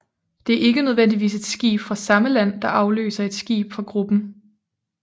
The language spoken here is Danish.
Det er ikke nødvendigvis et skib fra samme land der afløser et skib fra gruppen